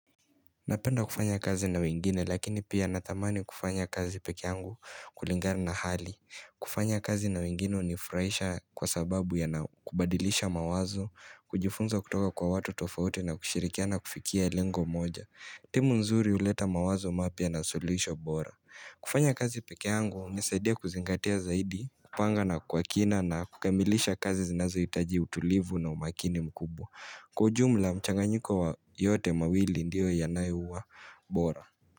Napenda kufanya kazi na wengine lakini pia natamani kufanya kazi pekee yangu kulingani na hali. Kufanya kazi na wengine hunifurahisha kwa sababu ya na kubadilisha mawazo, kujifunza kutoka kwa watu tofauti na kushirikiana kufikia lengo moja. Timu nzuri huleta mawazo mapya na suluhisho bora. Kufanya kazi pekee yangu hunisaidia kuzingatia zaidi, kupanga na kukamilisha kazi zinazohitaji utulivu na umakini mkubwa. Kwa ujumla mchanganyiko wa yote mawili ndiyo yanayouwa bora.